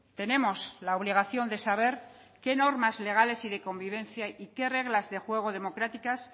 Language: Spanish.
tenemos la obligación de saber qué normas legales y de convivencia y qué reglas de juego democráticas